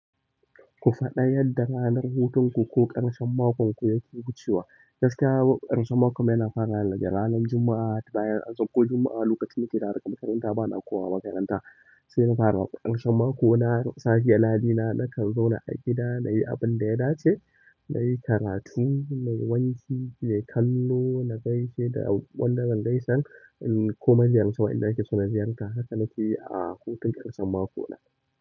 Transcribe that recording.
Ku faɗa yadda ranar hutunku ko ƙarshen makonku yake wucewa. Gaskiya ƙarshen makommu yana farawane daga ranar juma'a, bayan an sakko juma'a lokacin nake dawowa daga makaranta bana komawa makaranta, saina fara ƙarshen makoma na misali naje nakan zauna a gida nayi abunda ya dace, nayi karatu, nayi wanki, nayi kallo na gaisheda. Da wanda zan gaisar in kuma ziyarci wa'inda nake so na ziyarta, haka nake yi a hutun ƙarshen mako na.